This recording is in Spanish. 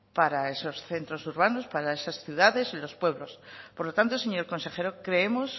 para esos centros urbanos para esas ciudades y los pueblos por lo tanto señor consejero creemos